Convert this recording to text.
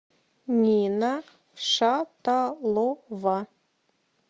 нина шаталова